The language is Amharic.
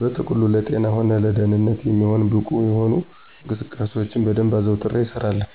በጥቅሉ ለጤና ሆነ ለደንነት የሚሆን ብቁ የሆኑ እንቅስቃሴዎችን በደንብ አዘውትሬ እሰራለሁ።